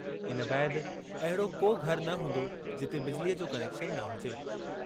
इन बैदि अहिड़ो को घर न हूंदो, जिते बिजलीअ जो कनेक्शन न हुजे।